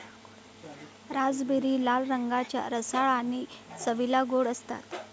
Raspberry लाल रंगाच्या, रसाळ आणि चवीला गोड असतात.